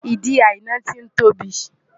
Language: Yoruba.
Ìdí Àìná ti ń tóbi.